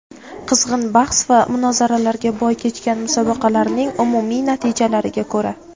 Qizg‘in bahs va munozaralarga boy kechgan musobaqalarning umumiy natijalariga ko‘ra:.